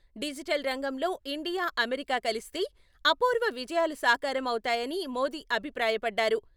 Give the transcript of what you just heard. Digital రంగంలో India, America కలిస్తే, అపూర్వ విజయాలు సాకారం అవుతాయని మోదీ అభిప్రాయపడ్డారు.